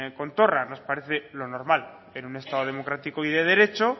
con torra nos parece lo normal en un estado democrático y de derecho